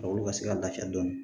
Farikolo ka se ka lafiya dɔɔnin